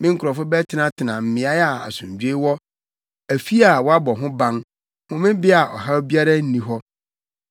Me nkurɔfo bɛtenatena mmeae a asomdwoe wɔ afi a wɔabɔ ho ban homebea a ɔhaw biara nni hɔ.